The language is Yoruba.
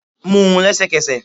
mú un lẹsẹkẹsẹ